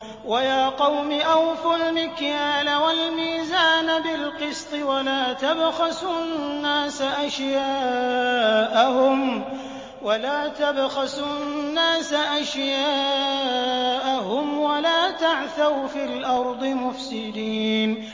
وَيَا قَوْمِ أَوْفُوا الْمِكْيَالَ وَالْمِيزَانَ بِالْقِسْطِ ۖ وَلَا تَبْخَسُوا النَّاسَ أَشْيَاءَهُمْ وَلَا تَعْثَوْا فِي الْأَرْضِ مُفْسِدِينَ